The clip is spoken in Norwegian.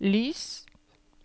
lys